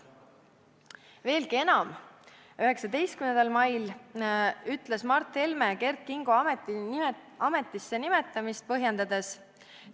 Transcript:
Veelgi enam, 19. mail ütles Mart Helme Kert Kingo ametisse nimetamist põhjendades: "...